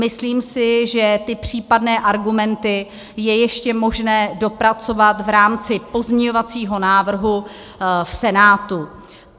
Myslím si, že ty případné argumenty je ještě možné dopracovat v rámci pozměňovacího návrhu v Senátu.